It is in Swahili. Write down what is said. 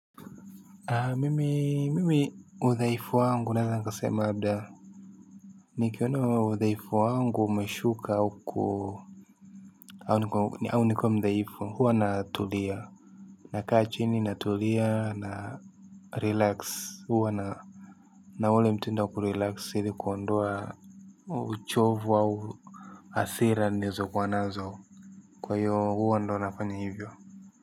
Mimi udhaifu wangu naeza nikasema labda nikiona udhaifu wangu umeshuka au ku au nikuwe mdhaifu huwa natulia nakaa chini natulia narelax huwa na na ule mtindo wa kurelax ili kuondoa uchovu au hasira nilizokuwa nazo kwa hiyo huwa ndo nafanya hivyo.